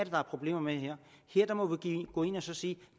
der er problemer med her der må vi gå ind og sige